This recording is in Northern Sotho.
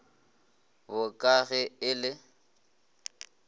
bo ka ge e le